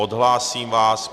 Odhlásím vás.